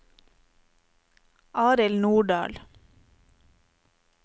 Arild Nordahl